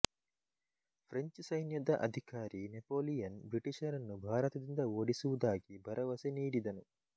French ಸೈನ್ಯದ ಅಧಿಕಾರಿ Napoleon ಬ್ರಿಟಿಷರನ್ನು ಭಾರತದಿಂದ ಓಡಿಸುವುದಾಗಿ ಭರವಸೆ ನೀಡಿದನು